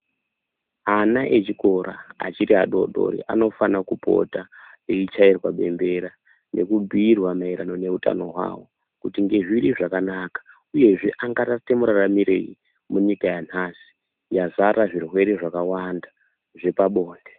Ana echikora achiri adoodori anofane kupota eichairwa bembera nekubhiirwa maererano neutano hwawo kuti ngezviri zvakanaka uyezve angaite muraramirei munyika yanhasi yazara zvirwere zvakawanda zvepabonde.